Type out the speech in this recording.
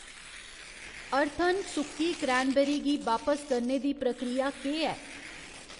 Earthen सुक्की cranberry गी बापस करने दी प्रक्रिया केह् ऐ ?